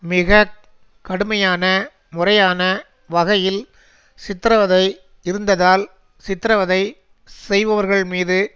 மிக கடுமையான முறையான வகையில் சித்திரவதை இருந்ததால் சித்திரவதை செய்பவர்கள்மீது